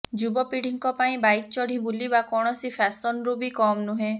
ଯୁବପିଢୀଙ୍କ ପାଇଁ ବାଇକ୍ ଚଢି ବୁଲିବା କୌଣସି ଫ୍ୟାସନରୁ ବି କମ୍ ନୁହେଁ